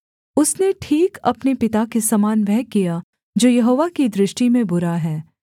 उसने ठीक अपने पिता के समान वह किया जो यहोवा की दृष्टि में बुरा है